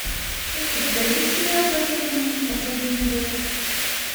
у тебя есть сериал потерянные последний эпизод